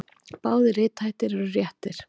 Báðir rithættir eru réttir.